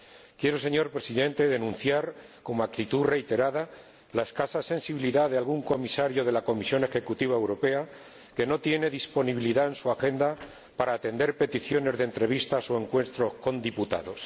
Quiero, señor Presidente, denunciar, como actitud reiterada, la escasa sensibilidad de algún comisario de la Comisión Europea, que no tiene disponibilidad en su agenda para atender peticiones de entrevistas o reuniones con diputados.